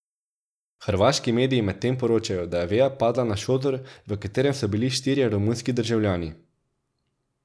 Hrvaški mediji medtem poročajo, da je veja padla na šotor, v katerem so bili štirje romunski državljani.